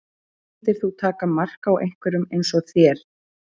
Myndir þú taka mark á einhverjum eins og þér?